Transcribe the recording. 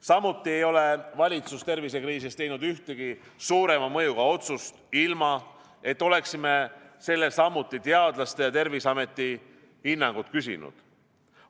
Samuti ei ole valitsus tervisekriisis teinud ühtegi suurema mõjuga otsust, ilma et oleksime sellele samuti teadlaste ja Terviseameti hinnangut küsinud.